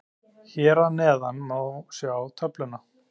Hér að neðan má sjá töfluna.